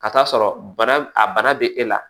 Ka taa sɔrɔ bana a bana bɛ e la